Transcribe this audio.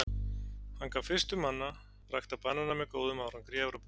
Hann gat fyrstur manna ræktað banana með góðum árangri í Evrópu.